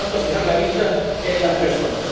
Por tanto, fijar la vista en las personas